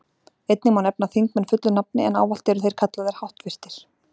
Einnig má nefna þingmenn fullu nafni, en ávallt eru þeir kallaðir háttvirtir.